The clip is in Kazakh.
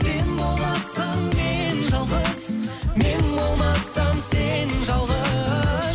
сен болмасаң мен жалғыз мен болмасам сен жалғыз